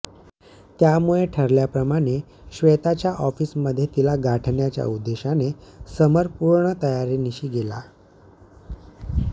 त्यामुळे ठरल्या प्रमाणे श्वेताच्या ऑफिस मध्ये तिला गाठण्याच्या उद्देशाने समर पूर्ण तयारीनिशी गेला